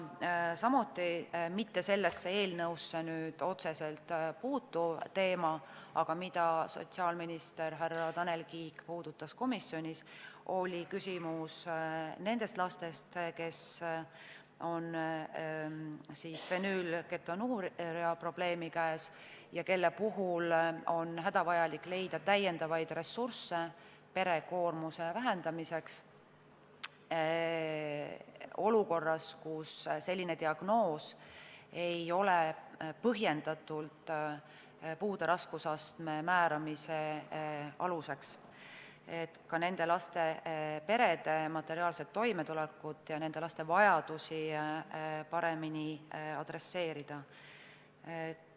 Samuti oli kõne all sellesse eelnõusse otseselt mittepuutuv teema, aga sotsiaalminister härra Tanel Kiik puudutas komisjonis nende laste küsimust, kellel on fenüülketonuuria probleem ja kelle jaoks on hädavajalik leida täiendavaid ressursse pere koormuse vähendamiseks olukorras, kus selline diagnoos ei ole põhjendatult puude raskusastme määramise aluseks, et ka nende laste perede materiaalset toimetulekut ja nende laste vajadusi paremini käsitleda.